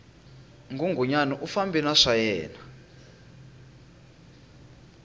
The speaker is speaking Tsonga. nghunghunyani u fambe na swayena